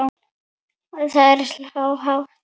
Það er há tala.